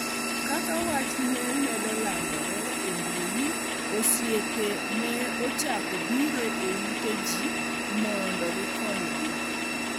Kaka wach ne medo landore e mbui, osiepe ne ochako biro e ute ji mondo gikonygi.